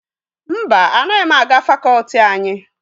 Mba, anaghị m aga fakọọti anyị.